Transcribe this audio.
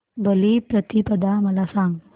बलिप्रतिपदा मला सांग